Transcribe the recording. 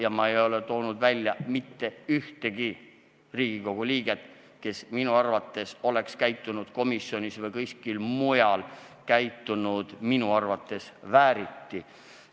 Ja ma ei toonud välja mitte ühtegi Riigikogu liiget, kes minu arvates on komisjonis või kuskil mujal käitunud vääriti.